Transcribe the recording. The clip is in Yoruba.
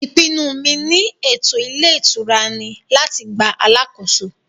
ìpinnu mi ni ètò ilé ìtura ni láti gba alàkóso